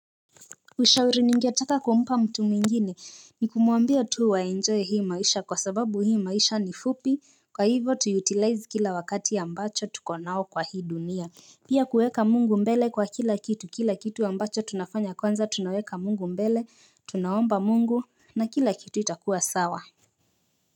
Ushauri ningetaka kumpa mtu mwingine ni kumwambia tu aenjoy hii maisha kwa sababu hii maisha ni fupi kwa hivo tu 'utilize' kila wakati ambacho tuko nao kwa hii dunia. Pia kuweka mungu mbele kwa kila kitu kila kitu ambacho tunafanya kwanza tunaweka mungu mbele tunaomba mungu, na kila kitu itakuwa sawa.